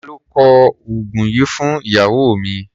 Ta ló kọ oògùn yìí fún ìyàwó mi?